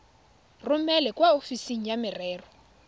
romele kwa ofising ya merero